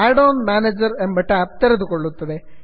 add on manager ಎಂಬ tab ತೆರೆದುಕೊಳ್ಳುತ್ತದೆ